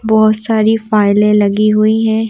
बहुत सारी फाइलें लगी हुई है।